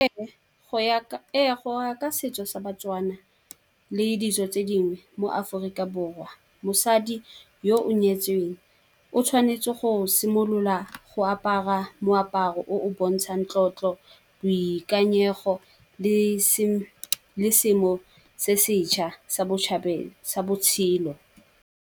Ee, go ya ka setso sa ba-Tswana le ditso tse dingwe mo Aforika Borwa mosadi yo o nyetsweng, o tshwanetse go simolola go apara moaparo o o bontshang tlotlo, boikanyego le seemo se seja sa botjhabela sa botshelo.